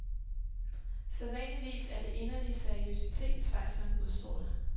Sædvanligvis er det inderlig seriøsitet, schweizeren udstråler.